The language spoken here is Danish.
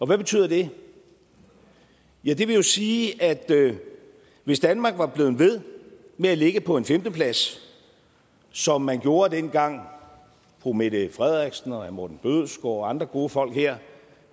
hvad betyder det ja det vil jo sige at hvis danmark var blevet ved med at ligge på en femteplads som man gjorde dengang fru mette frederiksen og herre morten bødskov og andre gode folk her